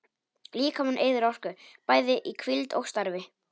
Líkaminn eyðir orku, bæði í hvíld og starfi.